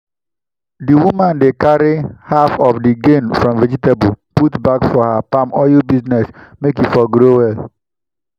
the woman dey carry half of the gain from vegetable put back for her palm oil business make e for grow well.